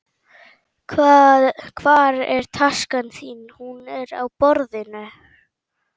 Hvar er taskan þín? Hún er á borðinu.